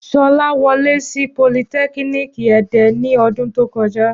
Ṣọlá wọlé sí politẹ́kíníìkì Ẹdẹ ní ọdún tó kọjá